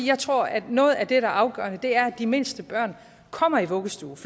jeg tror at noget af det der er afgørende er at de mindste børn kommer i vuggestue